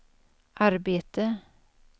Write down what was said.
arbete